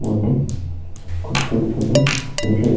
মধ্যে খুব সুন্দর সুন্দর --